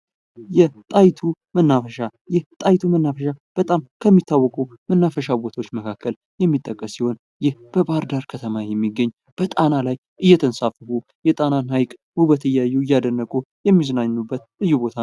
የጣይቱም መናፈሻ የጣይቱ መናፈሻ በጣም ከሚታወቁ መናፈሻ ቦታዎች መካከል የሚጠቀስ ሲሆን ይህ በባህር ዳር ከተማ የሚገኝ በጣም ላይ የተንሳፈፉ የጣናን ሀይቅ ውበት እያዩ እያደነቁ የሚዝናኑበት ልዩ ቦታ ነው ::